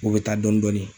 O bɛ taa dɔɔnin dɔɔnin